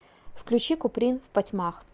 включи куприн впотьмах